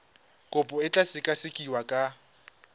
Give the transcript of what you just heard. kopo e tla sekasekiwa ka